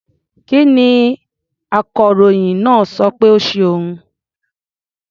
Kí ni akọròyìn náà sọ pé ó ṣe òun?